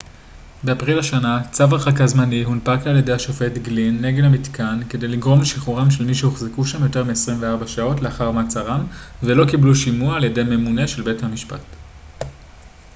באפריל השנה צו הרחקה זמני הונפק על-ידי השופט גלין נגד המתקן כדי לגרום לשחרורם של מי שהוחזקו שם יותר מ-24 שעות לאחר מעצרם ולא קיבלו שימוע על ידי ממונה של בית-משפט